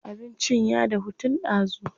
Abincin ya dahu tun ɗazu.